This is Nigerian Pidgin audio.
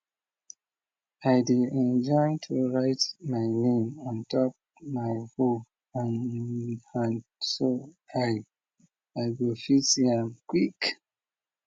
i dey enjoy to write my name on top my hoe hand so i i go fit see am quick